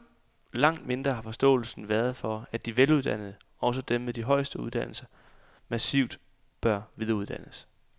Langt mindre har forståelsen været for, at de veluddannede, også dem med de højeste uddannelser, massivt bør videreuddannes.